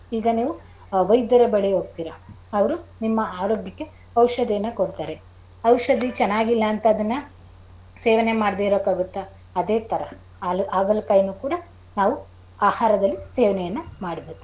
ಈಗ ನೀವು ವೈದ್ಯರ ಬಳಿ ಹೋಗ್ತಿರ ಅವರು ನಿಮ್ಮ ಆರೋಗ್ಯಕ್ಕೆ ಔಷಧಿಯನ್ನ ಕೊಡ್ತಾರೆ ಔಷಧಿ ಚೆನ್ನಾಗಿಲ್ಲ ಅಂತ ಅದುನ್ನ ಸೇವನೆ ಮಾಡದೆ ಇರೋಕಾಗುತ್ತ ಅದೇ ತರ ಆಗಳಕಾಯಿಯನ್ನು ಕೂಡ ನಾವು ಆಹಾರದಲ್ಲಿ ಸೇವನೆಯನ್ನು ಮಾಡಬೇಕು ಅದು.